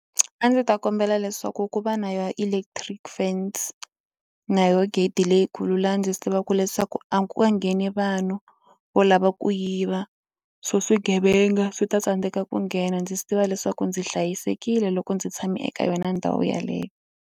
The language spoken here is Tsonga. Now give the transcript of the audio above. A ndzi ta kombela leswaku ku va na ya electric fence na yo gate leyikulu laha ndzi swi tivaka leswaku a ku nga ngheni vanhu vo lava ku yiva swo swigevenga swi ta tsandzeka ku nghena ndzi swi tiva leswaku ndzi hlayisekile loko ndzi tshame eka yona ndhawu yeleyo.